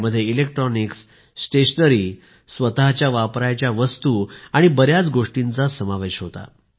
यात electronics stationery self care item आणि बऱ्याच गोष्टींचा समावेश होता